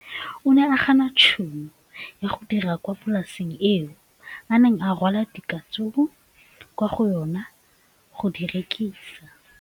O ne a gana tšhono ya go dira kwa polaseng eo a neng rwala diratsuru kwa go yona go di rekisa.